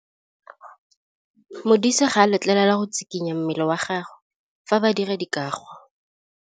Modise ga a letlelelwa go tshikinya mmele wa gagwe fa ba dira karô.